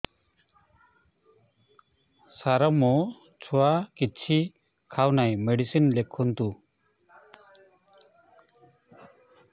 ସାର ମୋ ଛୁଆ କିଛି ଖାଉ ନାହିଁ ମେଡିସିନ ଲେଖନ୍ତୁ